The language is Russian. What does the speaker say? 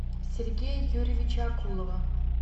сергея юрьевича акулова